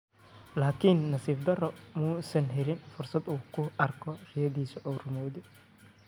Laakiin nasiib darro, ma uusan helin fursad uu ku arko riyadaas oo rumowday.